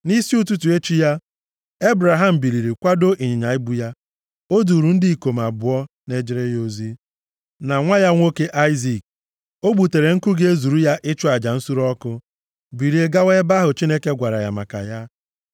Nʼisi ụtụtụ echi ya, Ebraham biliri kwadoo ịnyịnya ibu ya. O duuru ndị ikom abụọ na-ejere ya ozi, na nwa ya nwoke Aịzik. O gbutere nkụ ga-ezuru ya ịchụ aja nsure ọkụ, bilie gawa ebe ahụ Chineke gwara ya maka ya.